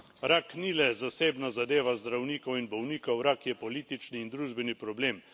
Rak ni le zasebna zadeva zdravnikov in bolnikov, rak je politični in družbeni problem.